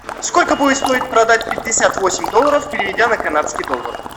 сколько будет стоить продать пятьдесят восемь долларов переведя на канадский доллар